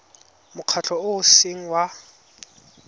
mokgatlho o o seng wa